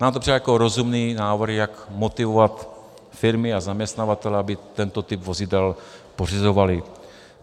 Nám to přijde jako rozumný návrh, jak motivovat firmy a zaměstnavatele, aby tento typ vozidel pořizovali.